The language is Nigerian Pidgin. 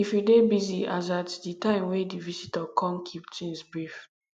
if you dey busy as at di time wey di visitor come keep things brief